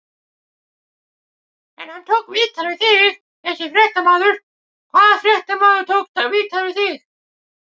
En hann tók viðtal við þig þessi fréttamaður, hvaða fréttamaður tók viðtal við þig?